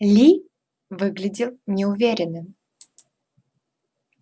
ли выглядел неуверенным